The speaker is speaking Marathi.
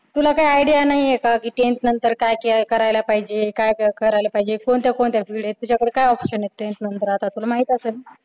तुला काय idea नाहीये काय की tenth नंतर काय करायला पाहिजे काय करायला पाहिजे कोणत्या कोणत्या field आहेत तुझ्याकडे काय option आहेत त्यानंतर आता तुला माहित असेल ना?